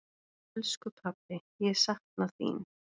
Elsku pabbi, ég sakna þín.